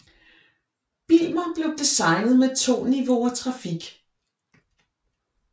Bijlmer blev designet med 2 niveauer trafik